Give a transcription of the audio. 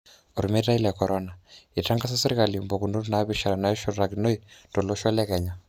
Omeitai le corona:Eitangasa serkali mpukunot napishana nashurtakinoi tolosho le Kenya.